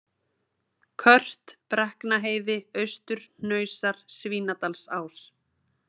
Kört, Brekknaheiði, Austurhnausar, Svínadalsás